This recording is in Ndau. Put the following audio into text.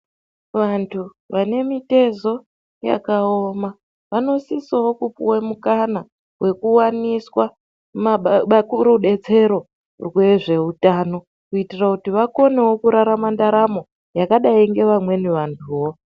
vantu vane mitezo yakaoma vanosisawo kupiwa mikana wekuwaniswa rubetsero wezveutano kuitira kuti vakonewo kurarama ndaramo yakadai ngevamweni vantuwo .